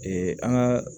Ee an ka